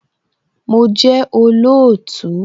Mo jẹ́ olóòtú